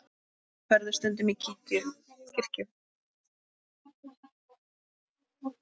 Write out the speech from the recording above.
Ferðu stundum í kirkju?